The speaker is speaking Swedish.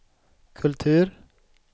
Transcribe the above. kultur